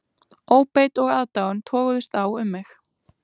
Óbeit og aðdáun toguðust á um mig